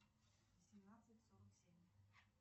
семнадцать сорок семь